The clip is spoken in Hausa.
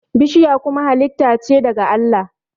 bishiya kuma halitta ce daga Allah